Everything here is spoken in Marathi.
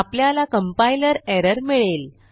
आपल्याला कंपाइलर एरर मिळेल